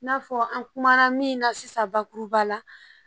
I n'a fɔ an kumana min na sisan bakuruba la